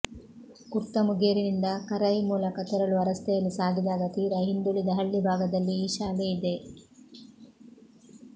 ಕುಡ್ತಮುಗೇರಿನಿಂದ ಕರೈ ಮೂಲಕ ತೆರಳುವ ರಸ್ತೆಯಲ್ಲಿ ಸಾಗಿದಾಗ ತೀರಾ ಹಿಂದುಳಿದ ಹಳ್ಳಿ ಭಾಗದಲ್ಲಿ ಈ ಶಾಲೆಯಿದೆ